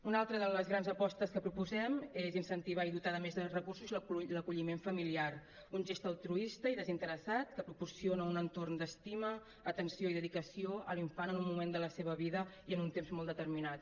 una altra de les grans apostes que proposem és incentivar i dotar de més recursos l’acolliment familiar un gest altruista i desinteressat que proporciona un entorn d’estima atenció i dedicació a l’infant en un moment de la seva vida i en un temps molt determinat